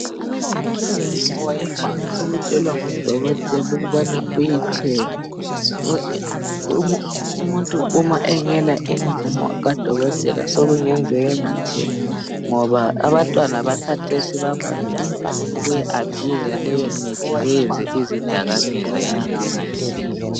Imithi evame ukutshelwa ngodokotela ukubana ayithenge. Umuntu uma engela imvumo kadokotela sekungenzeka angathengi ,ngoba abantwana bakhathesi bavame ukuyi abhuyuza leyo mithi bayenze izidakamizwa ngendlela engayisiyo.